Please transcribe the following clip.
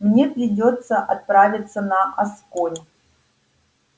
мне придётся отправиться на асконь